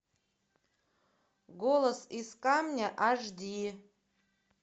голос из камня аш ди